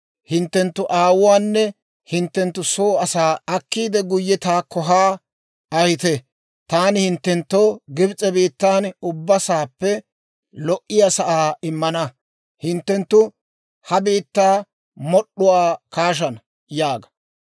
hinttenttu aawuwaanne hinttenttu soo asaa akkiidde, guyye taakko haa ahite. Taani hinttenttoo Gibs'e biittan ubbaa sa'aappe lo"iyaa sa'aa immina, hinttenttu ha biittaa mod'd'uwaa kaashana› yaaga.